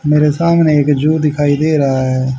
मेरे सामने एक जूं दिखाई दे रहा हैं।